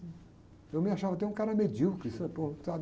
Eu me achava até um cara medíocre, sabe? Pô,